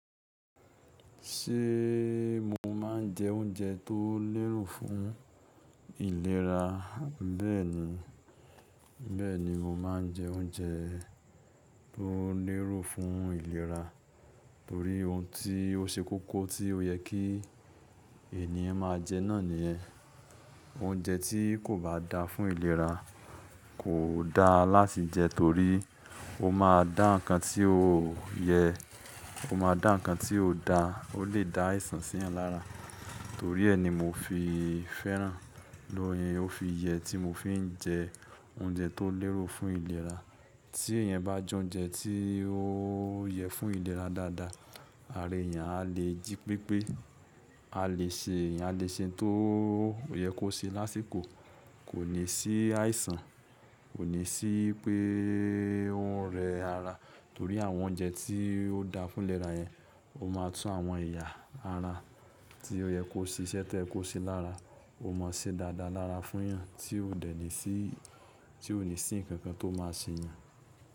Ṣé mo ma ń jẹ oúnjẹ tó léro fún ìlera? Bẹ́ẹ̀ni, bẹ́ẹ̀ni mo máa ń jẹ́ oúnjẹ tó léro fún ìlera torí ohun tí ó ṣe kókó tí ó yẹ kí ènìyàn máa jẹ náà nìyẹn. Oúnjẹ tí kò bá da fún ìlera kò da láti jẹ torí ó máa dá ǹkan tí ó yẹ, ó máa dá ǹkan tí ó da, ó lè dá àìsàn sí èèyàn lára. Torí ẹ́ ni mo fi fẹ́ràn, ni ó, ó fi yẹ tí mo fi ń jẹ oúnjẹ tó léro fún ìlera. Tí ènìyàn bá jẹ oúnjẹ tí ó yẹ fún ìlera dáadáa, ara ènìyàn a lè jí pépé, a lè ṣe àléṣẹ tó yẹ kó ṣe lásìkò, kò ní sí àìsàn, kò ní sí pé ó ń rẹ ara torí àwọn oúnjẹ tí ó da fún ìlera yẹn ó máa tún àwọn ẹ̀yà ara tí ó yẹ kó ṣe iṣẹ́ tí ẹ kó ṣe lára, ó máa ṣe dáadáa lára fún yàn tí ó dé ní sí, tí ó ní sí ǹkan kan tó máa ṣ'eeyan.